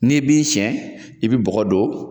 N'i ye bin sɛn i bi bɔgɔ don